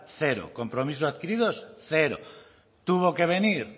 cero compromisos adquiridos cero tuvo que venir